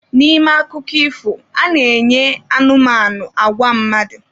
N'ime akụkọ ifo, a na-enye anụmanụ agwa mmadụ.